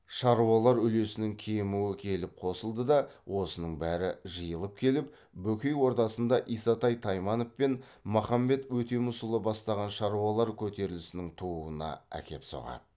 шаруалар үлесінің кемуі келіп қосылды да осының бәрі жиылып келіп бөкей ордасында исатай тайманов пен махамбет өтемісұлы бастаған шаруалар көтерілісінің тууына әкеп соғады